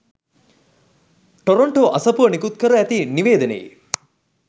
Toronto අසපුව නිකුත්කර ඇති නිවේදනයේ